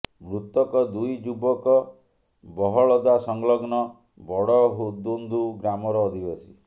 ମୃତକ ଦୁଇ ଯୁବକ ବହଳଦା ସଂଲଗ୍ନ ବଡଦୁନ୍ଦୁ ଗ୍ରାମର ଅଧିବାସୀ